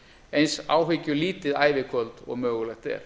eins áhyggjulítið ævikvöld og mögulegt er